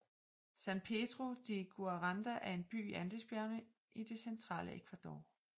San Pedro de Guaranda er en by i Andesbjergene det centrale Ecuador